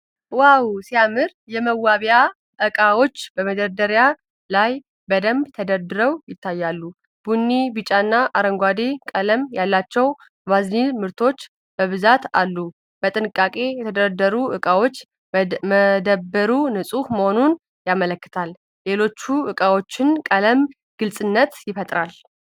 ዋው ሲያምር! የመዋቢያ ዕቃዎች በመደርደሪያ ላይ በደንብ ተደርድረው ይታያሉ። ቡኒ፣ ቢጫና አረንጓዴ ቀለም ያላቸው "ቫዝሊን" ምርቶች በብዛት አሉ። በጥንቃቄ የተደረደሩት ዕቃዎች መደብሩ ንፁህ መሆኑን ያመለክታሉ። የሌሎቹ ዕቃዎች ቀለም ግልጽነት ይፈጥራል።